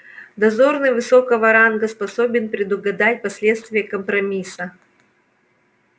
дозорный высокого ранга способен предугадать последствия компромисса